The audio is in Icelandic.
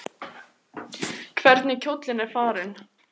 Hvernig kjóllinn er farinn!